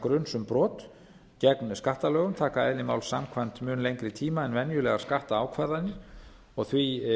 gruns um brot gegn skattalögum taka eðli máls samkvæmt mun lengri tíma en venjulegar skattákvarðanir og því